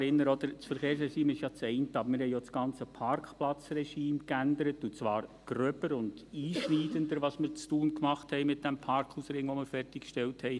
Das Verkehrsregime ist das eine, aber wir haben auch das ganze Parkplatzregime geändert, und zwar gröber und einschneidender – das, was wir in Thun mit dem Parkhausring gemacht haben, den wir fertiggestellt haben.